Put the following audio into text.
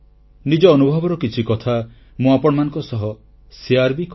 ନିଜ ଅନୁଭବର କିଛି କଥା ମୁଁ ଆପଣମାନଙ୍କ ସହ ବାଣ୍ଟିଥାଏ